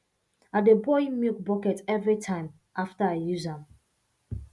i dey boil milk bucket every time after i use am